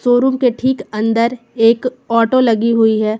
Showroom के ठीक अंदर एक ऑटो लगी हुई है।